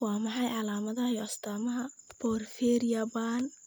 Waa maxay calaamadaha iyo astaamaha porphyria ba'an?